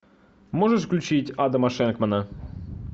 можешь включить адама шенкмана